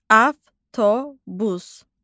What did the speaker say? Avtobus.